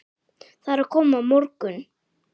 Það er að koma morgunn